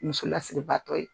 Muso lasiriba tɔ ye.